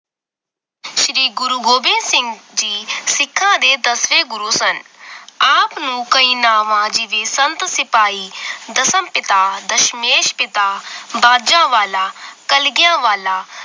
ਸ਼੍ਰੀ ਗੁਰੂ ਗੋਬਿੰਦ ਸਿੰਘ ਜੀ ਸਿਖਾਂ ਦੇ ਦੱਸਵੇਂ ਗੁਰੂ ਸਨ ਆਪ ਨੂੰ ਕੀਈ ਨਾਵਾਂ ਜੀ ਦੀ ਸੰਤ ਸਿਪਾਹੀ ਦਸਮ ਪਿਤਾ ਦਸ਼ਮੇਸ਼ ਪਿਤਾ ਬਾਜਾਂ ਵਾਲਾ ਕਲਗੀਆਂ ਵਾਲਾ